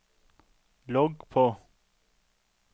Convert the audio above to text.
logg på